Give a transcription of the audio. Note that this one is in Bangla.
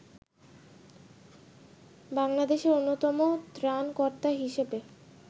বাংলাদেশের অন্যতম ত্রাণকর্তা হিসেবে